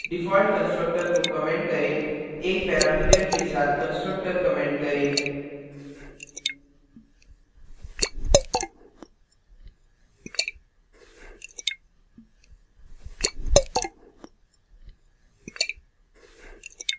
default constructor को comment करें 1 parameter के साथ constructor comment करें